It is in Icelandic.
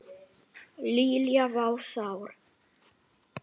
Lilla var sár.